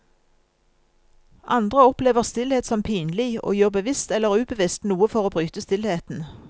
Andre opplever stillhet som pinlig, og gjør bevisst eller ubevisst noe for å bryte stillheten.